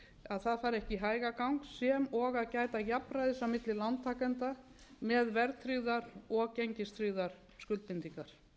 að það fari ekki í hægagang sem og að gæta jafnræðis á milli lántakenda með verðtryggðar og gengistryggðar skuldbindingar